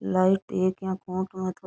light एक --